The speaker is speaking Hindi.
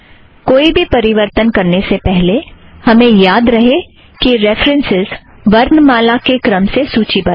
कोई भी परिवर्तन करने से पहले हमे याद रहे कि रेफ़रन्सस् वर्णमाला के क्रम से सूची बद्ध है